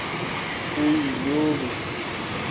uyobi